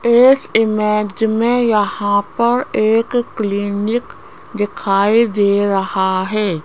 इस इमेज में यहां पर एक क्लीनिक दिखाई दे रहा है।